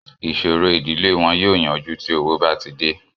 Ìṣòro ìdílé wọn yóò yanjú tí owó bá ti dè